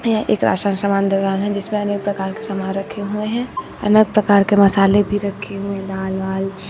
यह एक राशन सामान दुकान है जिसमें अनेक प्रकार के सामान रखे हुए हैं अनेक प्रकार के मसाले भी रखे हुए दाल वाल।